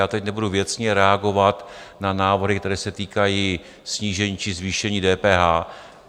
Já tady nebudu věcně reagovat na návrhy, které se týkají snížení či zvýšení DPH.